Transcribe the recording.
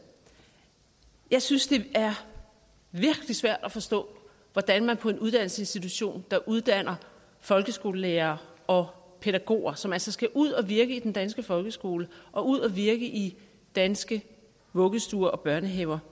jeg synes det er virkelig svært at forstå hvordan man på en uddannelsesinstitution der uddanner folkeskolelærere og pædagoger som altså skal ud at virke i den danske folkeskole og ud at virke i danske vuggestuer og børnehaver